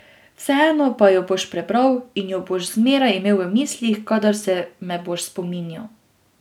Vseeno pa jo boš prebral in jo boš zmeraj imel v mislih, kadar se me boš spominjal.